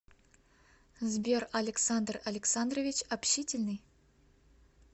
сбер александр александрович общительный